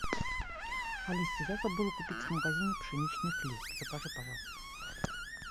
алиса я забыла купить в магазине пшеничный хлеб закажи пожалуйста